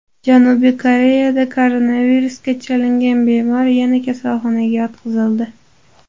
Janubiy Koreyada koronavirusga chalingan bemor yana kasalxonaga yotqizildi.